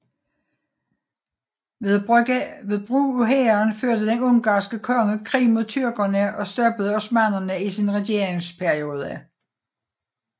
Ved brug af hæren førte den ungarske konge krig mod tyrkerne og stoppede osmannerne i sin regeringsperiode